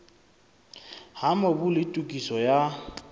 ha mobu le tokiso ya